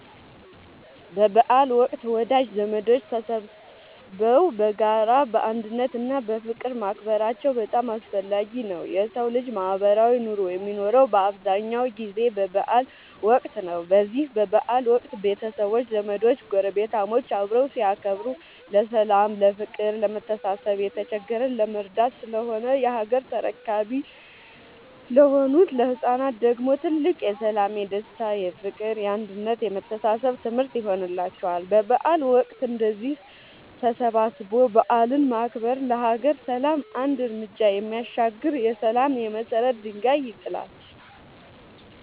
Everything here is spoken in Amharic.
በበዓል ወቅት ወዳጅ ዘመዶች ተሰባስበው በጋራ፣ በአንድነት እና በፍቅር ማክበራቸው በጣም አስፈላጊ ነው የሠው ልጅ ማህበራዊ ኑሮ የሚኖረው በአብዛኛው ጊዜ በበዓል ወቅት ነው። በዚህ በበዓል ወቅት ቤተሰቦች፣ ዘመዶች ጐረቤታሞች አብረው ሲያከብሩ ለሠላም፤ ለፍቅር፣ ለመተሳሰብ፣ የተቸገረን ለመርዳት ስለሆነ የሀገር ተረካቢ ለሆኑት ለህፃናት ደግሞ ትልቅ የሠላም፣ የደስታ፣ የፍቅር፣ የአንድነት የመተሳሰብ ትምህርት ይሆንላቸዋል። በበዓል ወቅት እንደዚህ ተሰባስቦ በዓልን ማክበር ለሀገር ሰላም አንድ ርምጃ የሚያሻግር የሠላም የመሰረት ድንጋይ ይጥላል።